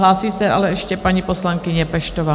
Hlásí se ale ještě paní poslankyně Peštová.